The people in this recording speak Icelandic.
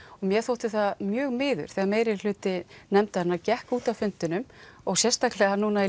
mér þótti það mjög miður þegar meirihluti nefndarinnar gekk út af fundinum og sérstaklega núna í